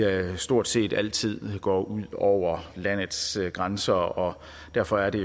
stort set altid går ud over landets grænser og derfor er det